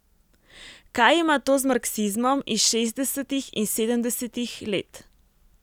Kaj ima to z marksizmom iz šestdesetih in sedemdesetih let?